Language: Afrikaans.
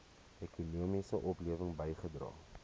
ekonomiese oplewing bygedra